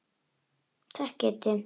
Takk Kiddi.